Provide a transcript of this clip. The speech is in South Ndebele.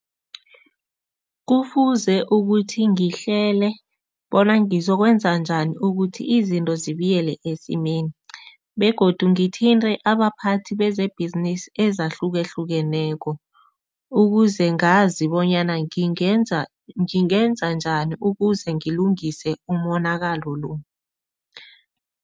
Kufuze ukuthi ngihlele bona ngizokwenza njani ukuthi izinto zibuyele esimeni begodu ngithinte abaphathi bezebhizinisi ezahlukahlukeneko, ukuze ngazi bonyana ngingenza ngingenza njani ukuze ngilungise umonakalo lo.